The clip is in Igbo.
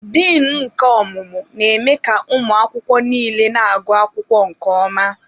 Din nke ọmụmụ na-eme ka ụmụ akwụkwọ niile na-agụ akwụkwọ nke ọma.